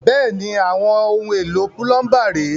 Bẹ́ẹ̀ni, àwọn ohun èlò púlọ́ńbà ré.